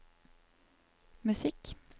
musikk